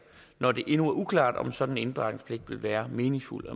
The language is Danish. når det endnu er uklart om en sådan indberetningspligt vil være meningsfuld